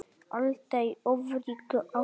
Alda í ofríki ástar.